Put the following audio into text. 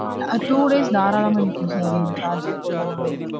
Sir two days தாராளமா நிக்கும் sir. நீங்க charge ஜே போடலனாலும்